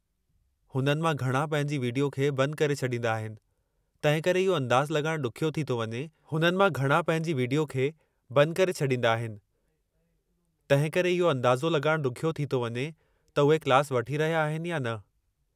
हुननि मां घणा पंहिंजी विडियो खे बंद करे छॾीन्दा आहिनि, तंहिं करे इहो अंदाज़ो लॻाइण ॾुखियो थी थो वञे त उहे क्लास वठी रहिया आहिनि या न।